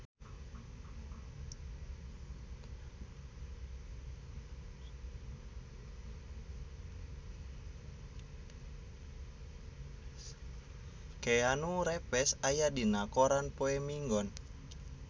Keanu Reeves aya dina koran poe Minggon